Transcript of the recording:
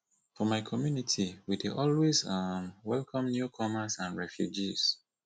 for my community we dey always um welcome newcomers and refugees